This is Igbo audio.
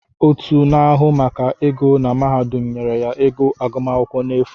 Otu na-ahụ maka ego na mahadum nyere ya ego agụmaakwụkwọ n’afụ